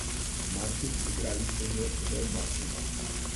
Martin, igrali ste že za oba kluba.